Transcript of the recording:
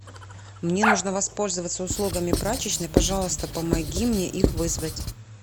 мне нужно воспользоваться услугами прачечной пожалуйста помоги мне их вызвать